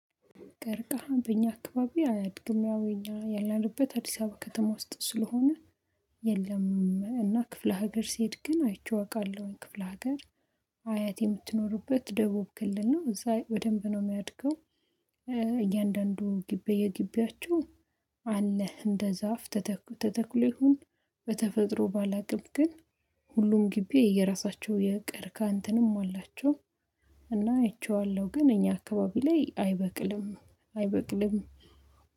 ቀርቃሃም በእኛ አካባቢ አያድግም ያው ያለንበት አዲስ አበባ ከተማ ውስጥ ስለሆነ። የለም እና ክፍለ ሀገር ሲሄድ ግን አይቼ አውቃለሁኝ ክፍለ ሀገር። አያት የምትኖሩበት ደቡብ ክልል ነው እዛ በደንብ ነው የሚያድገው። እያንዳንዱ ግቢ የግቢያችው አለህ እንደ ዛፍ ተተኩ ተተክሎ ይሁን። በተፈጥሮ ባላቅም ግን ሁሉም ግቢ የየራሳቸው የቀርቅሃ እንትንም አላቸው። እና አይቼዋለሁ ግን እኛ አካባቢ ላይ አይበቅልም አይበቅልም።